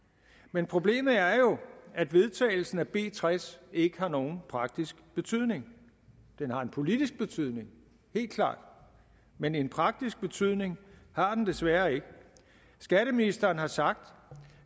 men problemet er jo at vedtagelsen af b tres ikke har nogen praktisk betydning den har en politisk betydning helt klart men en praktisk betydning har den desværre ikke skatteministeren har sagt